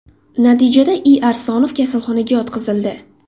Natijada I. Aslonov kasalxonaga yotqizildi.